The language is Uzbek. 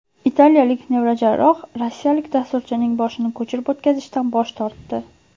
Italiyalik neyrojarroh rossiyalik dasturchining boshini ko‘chirib o‘tkazishdan bosh tortdi.